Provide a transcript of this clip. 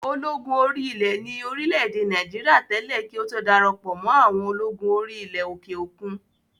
Ológun orí ilẹ̀ ni ní orílẹ̀-èdè Nàìjíríà tẹ́lẹ̀ kí ó tó darapọ̀ mọ́ àwọn ológun orí ilẹ̀ òkè òkun